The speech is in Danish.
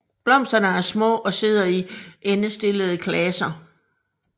Blomsterne er små og sidder i endestillede klaser